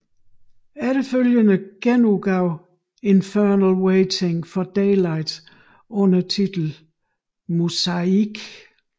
Efterfølgende genudgav Infernal Waiting for Daylight under titlen Muzaik